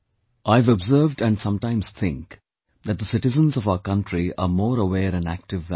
I have observed and sometimes think that the citizens of our country are more aware and active than me